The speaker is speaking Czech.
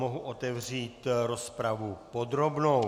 Mohu otevřít rozpravu podrobnou.